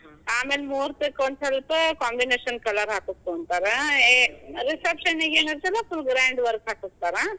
ಆಮ್ಯಾಲ್ ಮೂರ್ತಕ್ ಸ್ವಲ್ಪ combination colour ಹಾಕುಸ್ಕೊಂತರ. ಏ reception ಗೇನ ಐತಲ್ಲಾ ಸ್ವಲ್ಪ grand work ಹಾಕಸ್ಕೋತಾರ.